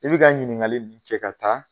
I bi ka ɲininkali nunnu kɛ ka taa .